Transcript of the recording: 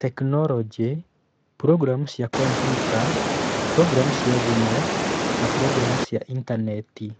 Tekinoronjĩ: Programu cia kompiuta, programu cia thimũ, na programu cia Intaneti